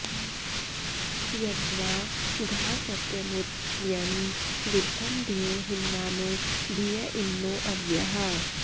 यद्वा घा सत्यमुत यन्न विद्म धियो हिन्वानो धिय इन्नो अव्याः